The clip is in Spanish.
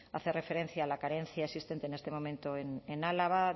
hace referencia a la carencia existente en este momento en álava